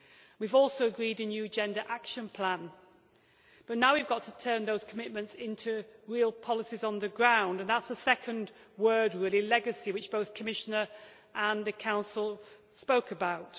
We have also agreed a new Agenda Action Plan, but now we have to turn those commitments into real policies on the ground, and that is the second word really legacy which both the Commission and the Council spoke about.